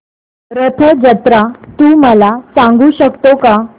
रथ जत्रा तू मला सांगू शकतो का